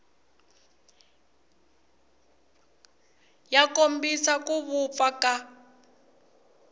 ya kombisa ku vupfa ka